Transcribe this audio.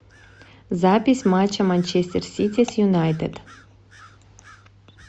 запись матча манчестер сити с юнайтед